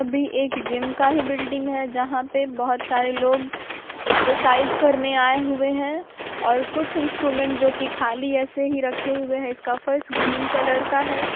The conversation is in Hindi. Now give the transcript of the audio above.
अभी एक जिम का ही बिल्डिंग हैं जहां पे बोहोत सारे लोग एक्सरसाइज करने आये हुए हैंऔर कुछ इंस्ट्रूमेंट्स जो की खाली ऐसे ही रखे हुए हैं इसका फर्श ग्रीन कलर का हैं।